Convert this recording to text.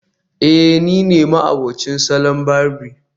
eh nine ma'abocin salon barbi